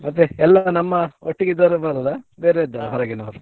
ಮತ್ತೆ ಎಲ್ಲ ನಮ್ಮ ಒಟ್ಟಿಗೆ ಇದ್ದವರು ಬರುದಾ ಬೇರೆ ಇದ್ದಾರಾ ಹೊರಗಿನವರು.